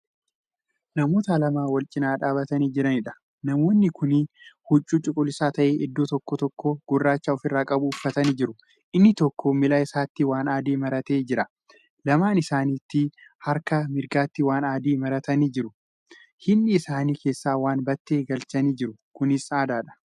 Namoota lama walcinaa dhaabatanii Jiraniidha. namoonni Kuni huccuu cuquliisa ta'ee iddoo tokko tokkoo gurraacha ofirraa qabu uffatanii jiru. inni tokko miila isaatti waan adii marattee Jira. lamaan isaanii isaaniiti harka mirgaatti waan adii maratanii jiru. hidhii isaanii keessaa waan battee galchanii jiru. kunis aadaadha.